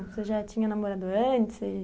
Você já tinha namorado antes?